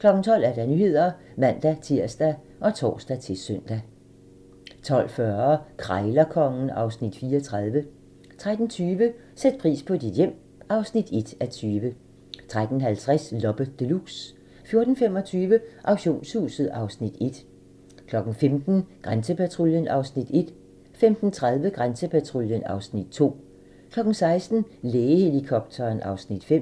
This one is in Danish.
12:00: Nyhederne (man-tir og tor-søn) 12:40: Krejlerkongen (Afs. 34) 13:20: Sæt pris på dit hjem (1:20) 13:50: Loppe Deluxe 14:25: Auktionshuset (Afs. 1) 15:00: Grænsepatruljen (Afs. 1) 15:30: Grænsepatruljen (Afs. 2) 16:00: Lægehelikopteren (Afs. 5)